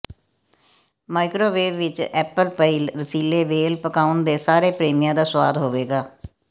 microwave ਵਿੱਚ apple pie ਰਸੀਲੇ ਵੇਲ ਪਕਾਉਣ ਦੇ ਸਾਰੇ ਪ੍ਰੇਮੀਆਂ ਦਾ ਸੁਆਦ ਹੋਵੇਗਾ